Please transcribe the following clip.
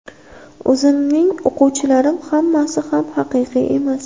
O‘zimning o‘quvchilarim hammasi ham haqiqiy emas.